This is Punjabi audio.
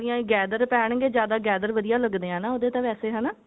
gather ਪੈਣਗੇ ਜਿਆਦਾ gather ਵਧੀਆਂ ਲਗਦੇ ਨੇ ਹਨਾ ਉਹਦੇ ਤਾਂ ਵੈਸੇ